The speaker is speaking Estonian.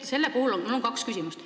Mul on kaks küsimust.